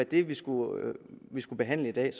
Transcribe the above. det vi skulle skulle behandle i dag